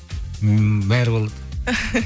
ммм бәрі болады